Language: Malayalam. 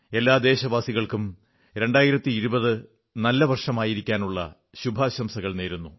എല്ലാ ദേശവാസികൾക്കും 2020 നല്ല വർഷമായിരിക്കാനുള്ള ശുഭാശംസകൾ നേരുന്നു